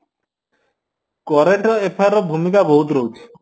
current affair ର ଭୂମିକା ବହୁତ ରହୁଚି